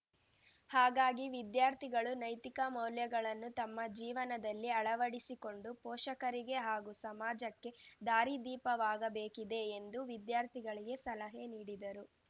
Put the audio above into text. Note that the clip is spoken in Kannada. ಹಾಗಾಗಿ ವಿದ್ಯಾರ್ಥಿಗಳು ನೈತಿಕ ಮೌಲ್ಯಗಳನ್ನು ತಮ್ಮ ಜೀವನದಲ್ಲಿ ಅಳವಡಿಸಿಕೊಂಡು ಪೋಷಕರಿಗೆ ಹಾಗೂ ಸಮಾಜಕ್ಕೆ ದಾರಿದೀಪವಾಗಬೇಕಿದೆ ಎಂದು ವಿದ್ಯಾರ್ಥಿಗಳಿಗೆ ಸಲಹೆ ನೀಡಿದರು